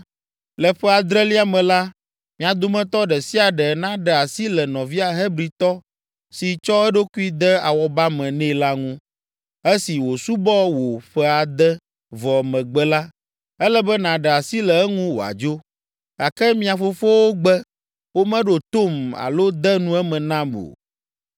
‘Le ƒe adrelia me la, mia dometɔ ɖe sia ɖe naɖe asi le nɔvia Hebritɔ si tsɔ eɖokui de awɔba me nɛ la ŋu. Esi wòsubɔ wò ƒe ade vɔ megbe la, ele be nàɖe asi le eŋu wòadzo.’ Gake mia fofowo gbe, womeɖo tom alo de nu eme nam o.